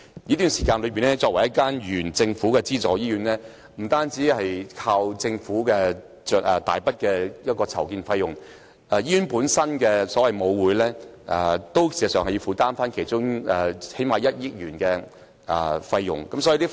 作為政府資助醫院，聯合醫院的擴建計劃不單要依靠政府提供大筆的擴建費用，醫院本身的母會事實上也要負擔其中最少1億元的費用。